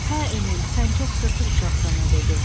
Hə Emil, sən çox sırtıq uşaqsan, o dedi.